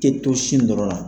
Ke to sin dɔrɔn an.